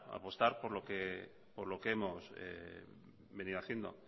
por lo que hemos venido haciendo